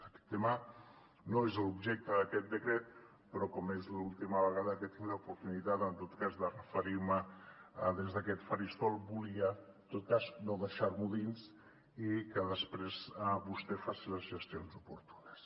aquest tema no és l’objecte d’aquest decret però com és l’última vegada que tinc l’oportunitat en tot cas de referir m’hi des d’aquest faristol volia en tot cas no deixar m’ho dins i que després vostè faci les gestions oportunes